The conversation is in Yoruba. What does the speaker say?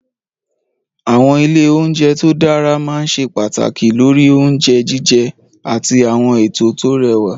Àwọn ilé oúnjẹ tó dára máa ń ṣe pàtàkì lórí oúnjẹ jíjẹ àti àwọn ètò tó rẹwà.